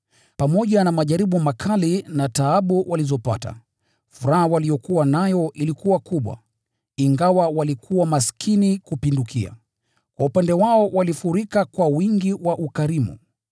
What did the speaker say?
Pamoja na majaribu makali na taabu walizopata, furaha waliyokuwa nayo ilikuwa kubwa, ingawa walikuwa maskini kupindukia, kwa upande wao walifurika kwa wingi wa ukarimu.